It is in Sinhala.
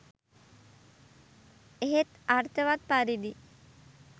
එහෙත් අර්ථවත් පරිදි